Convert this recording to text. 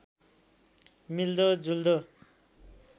मिल्दो जुल्दो